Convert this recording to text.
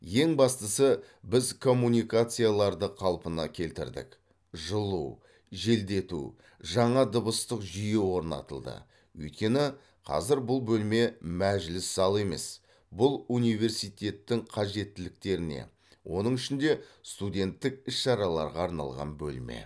ең бастысы біз коммуникацияларды қалпына келтірдік жылу желдету жаңа дыбыстық жүйе орнатылды өйткені қазір бұл бөлме мәжіліс залы емес бұл университеттің қажеттіліктеріне оның ішінде студенттік іс шараларға арналған бөлме